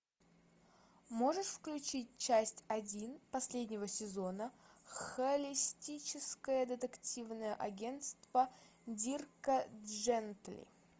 можешь включить часть один последнего сезона холистическое детективное агентство дирка джентли